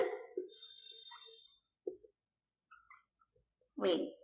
wait